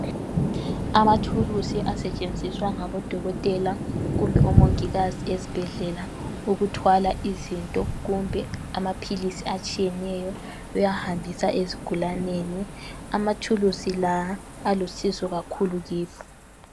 Amathuluzi asetshenziswa ngomongikazi kumbe odokotela esibhedlela ukuthwala izinto kumbe amaphilizi atshiyeneyo bewahambisa ezigulaneni. Amathuluzi la alusizo kakhulu kithi.